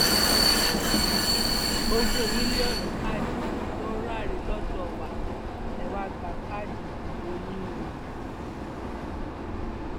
ogún mílíọnù káàdì ló ń ráre lọdọ wa ẹ wàá gba káàdì ìdìbò yín o